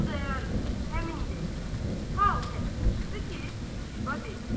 Xudayar bəyi həmin dəqiqə hal təbdən çıxdı ki, Zibə dedi.